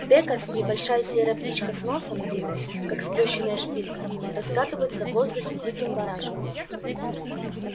бекас небольшая серая птичка с носом длинным как сплющенная шпилька раскатывается в воздухе диким барашком